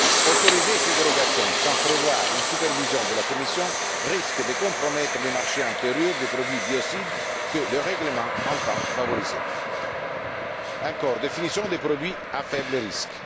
Autoriser ces dérogations sans prévoir une supervision de la Commission risque de compromettre le marché intérieur des produits biocides, que le règlement entend favoriser. Quatrième question la définition des produits à faible risque.